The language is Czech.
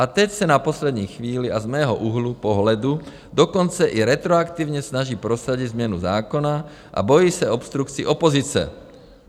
A teď se na poslední chvíli, a z mého úhlu pohledu dokonce i retroaktivně, snaží prosadit změnu zákona a bojí se obstrukcí opozice.